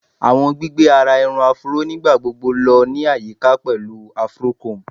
Awọn gbigbe ara irun Afro nigbagbogbo lọ ni ayika pẹlu afro comb